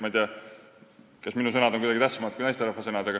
Ma ei tea, kas minu sõnad on siis kuidagi tähtsamad kui naisterahva sõnad.